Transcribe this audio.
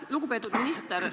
Lugupeetud minister!